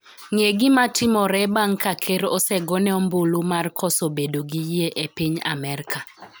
ng'e gimatimore bang' ka ker osegone ombulu mar koso bedo gi yie e piny Amerka